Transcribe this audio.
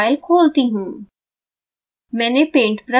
अब मैं यह फाइल खोलती हूँ